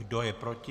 Kdo je proti?